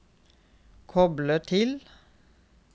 koble til